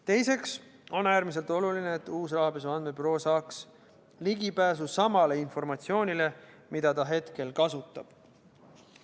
Teiseks on äärmiselt oluline, et uus Rahapesu Andmebüroo saaks ligipääsu samale informatsioonile, mida ta hetkel kasutab.